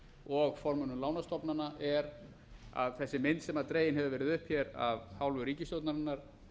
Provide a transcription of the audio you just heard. og formönnum lánastofnana er að þessi mynd sem dregin eru ferð upp hér af hálfu ríkisstjórnarinnar